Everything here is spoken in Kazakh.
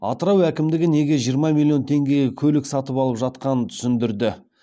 атырау әкімдігі неге жиырма миллион теңгеге көлік сатып алып жатқанын түсіндірді